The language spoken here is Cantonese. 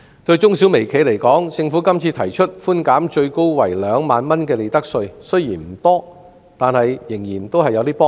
對中小微企而言，政府今次提出稅務寬免最高為2萬元的利得稅，雖然數目不多，但仍然會有幫助。